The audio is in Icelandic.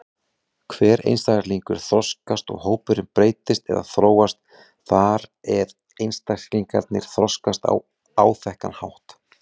Hver einstaklingur þroskast og hópurinn breytist eða þróast þar eð einstaklingarnir þroskast á áþekkan hátt.